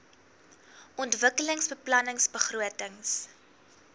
ontwikkelingsbeplanningbegrotings